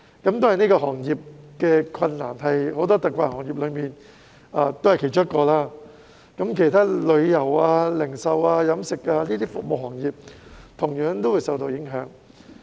當然，這個行業是很多特困行業中的其中一個，其他服務行業如旅遊、零售及飲食等同樣受到影響。